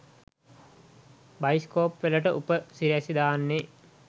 Bioscope වලට උප සිරැසි දාන්නේ.